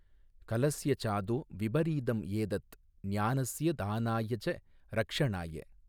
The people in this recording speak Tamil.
கலஸ்ய சாதோ விபரீதம் ஏதத், ஞானஸ்ய தானாய ச ரக்ஷணாய.